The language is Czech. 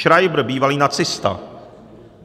Schreiber, bývalý nacista.